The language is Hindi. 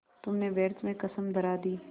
तुमने व्यर्थ में कसम धरा दी